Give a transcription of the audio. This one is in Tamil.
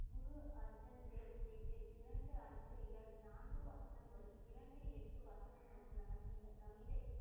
குரு அர்ஜன் தேவ்ஜிக்கு இரண்டு அஞ்சலிகள் நான்கு வசனங்களும் இரண்டு, எட்டு வசனங்களும் உள்ளன. இந்த கவிதைக்கு